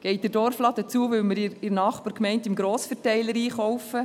Geht der Dorfladen zu, weil wir in der Nachbargemeinde im Grossverteiler einkaufen?